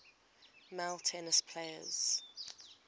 male tennis players